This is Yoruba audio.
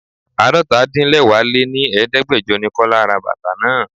Àádọ́ta -din-lẹwá lé ní Ẹ̀ẹ́dẹ́gbẹjọ ni Kọ́lá ra bàtà náà.